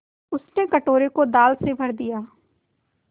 उसने कटोरे को दाल से भर दिया